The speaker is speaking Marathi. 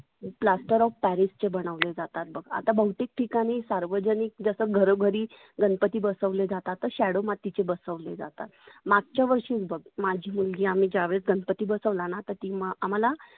plaster of paris चे बनवले जातात बघ. आता बहुतेक ठिकाणी सार्वजनीक जसं घरोघरी गणपती बसवले जातात तर shadow मातीचे बसवले जातात. मागच्या वर्षीच बघ माझी मुलगी आम्ही ज्या वेळेस गणपती बसवला ना ती मा आम्हाला